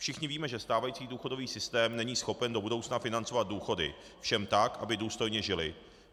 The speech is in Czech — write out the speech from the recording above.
Všichni víme, že stávající důchodový systém není schopen do budoucna financovat důchody všem tak, aby důstojně žili.